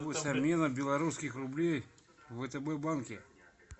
курс обмена белорусских рублей в втб банке